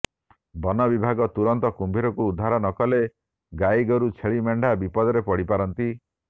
ବନବିଭଗ ତୁରନ୍ତ କୁମ୍ଭୀରକୁ ଉଦ୍ଧାର ନକଲେ ଗାଇଗୋରୁ ଛେଲିମେଣ୍ଢା ବିପଦରେ ପଡିପାରନ୍ତି